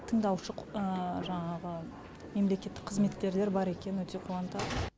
тыңдаушы жаңағы мемлекеттік қызметкерлер бар екені өте қуантады